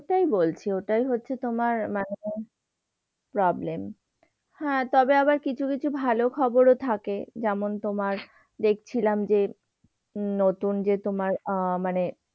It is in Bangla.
যে ওটাই হচ্ছে তোমার মানে problem হ্যাঁ, তবে আবার কিছু কিছু ভালো খবরও থাকে। যেমন তোমার দেখছিলাম যে নতুন যে তোমার আহ মানে যে,